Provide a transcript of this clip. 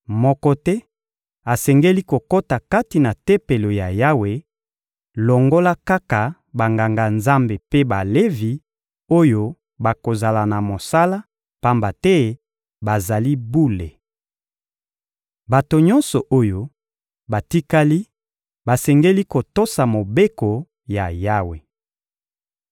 Moko te asengeli kokota kati na Tempelo ya Yawe longola kaka Banganga-Nzambe mpe Balevi oyo bakozala na mosala, pamba te bazali bule. Bato nyonso oyo batikali basengeli kotosa mobeko ya Yawe.